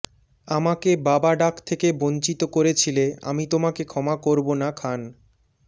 আমাকে বাবা ডাক থেকে বঞ্চিত করেছিলে আমি তোমাকে ক্ষমা করব না খান